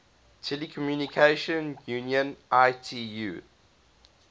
telecommunication union itu